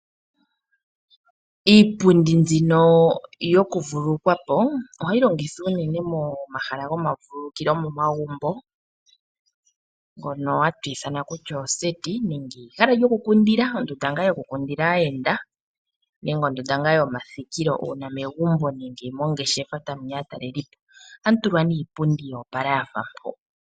Iipundi mbino yoku vululukwapo, ohayi longithwa unene momahala goma vululukilo momagumbo ngono hatu ithana kutya oseti nenge ehala lyoku kundila ondunda ngayoku kundila aayenda nenge ondunda yoma thikilo uuna megumbo nenge mongeshefa hamuya aatalelipo ohamu tulwa nee iipundi yoopala yafa mpo.